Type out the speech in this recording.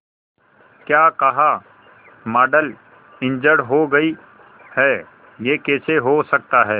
क्या कहा model injured हो गई है यह कैसे हो सकता है